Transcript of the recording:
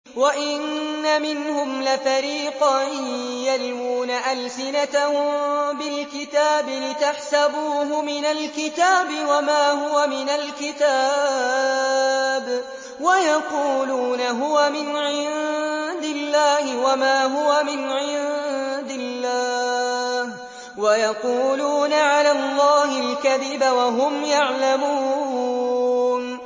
وَإِنَّ مِنْهُمْ لَفَرِيقًا يَلْوُونَ أَلْسِنَتَهُم بِالْكِتَابِ لِتَحْسَبُوهُ مِنَ الْكِتَابِ وَمَا هُوَ مِنَ الْكِتَابِ وَيَقُولُونَ هُوَ مِنْ عِندِ اللَّهِ وَمَا هُوَ مِنْ عِندِ اللَّهِ وَيَقُولُونَ عَلَى اللَّهِ الْكَذِبَ وَهُمْ يَعْلَمُونَ